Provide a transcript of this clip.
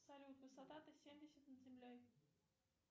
салют высота т семьдесят над землей